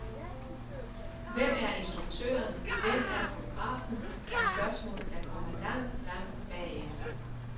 Hvem er instruktøren, hvem er fotografen er spørgsmål, der kommer langt, langt bagefter?